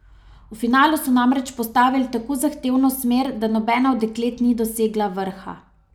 V finalu so namreč postavili tako zahtevno smer, da nobena od deklet ni dosegla vrha.